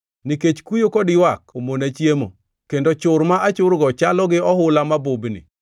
Nikech kuyo kod ywak omona chiemo; kendo chur ma achurgo chalo gi oula mabubni.